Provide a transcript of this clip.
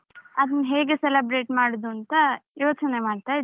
ಅದನ್ನು ಹೇಗೆ celebrate ಮಾಡುದಂತ ಯೋಚನೆ ಮಾಡ್ತಾ ಇದ್ದೆ.